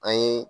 An ye